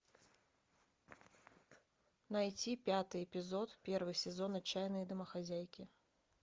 найти пятый эпизод первого сезона отчаянные домохозяйки